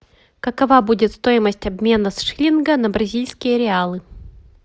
какова будет стоимость обмена с шиллинга на бразильские реалы